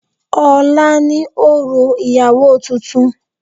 Ọ̀la ni òrò ìyàwó tuntun.